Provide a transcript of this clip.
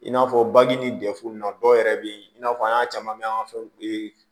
I n'a fɔ baji ni dɛfu na dɔw yɛrɛ bɛ yen i n'a fɔ an y'a caman bɛ an ka fɛnw